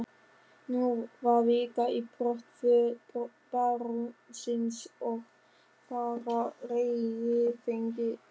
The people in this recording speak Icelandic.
Nú var vika í brottför barónsins og farareyrir fenginn.